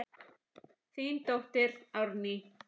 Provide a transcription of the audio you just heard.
Þín dóttir, Árný.